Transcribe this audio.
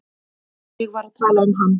Ég var að tala um hann.